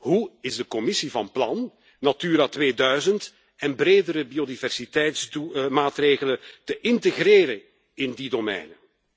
Hoe is de Commissie van plan Natura 2000 en bredere biodiversiteitsmaatregelen te integreren in die domeinen?